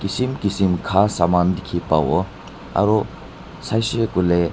kisim kisim kha saman dikhipawo aro saishey koilae.